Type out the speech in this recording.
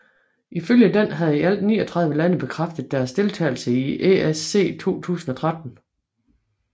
Ifølge den havde i alt 39 lande bekræftet deres deltagelse i ESC 2013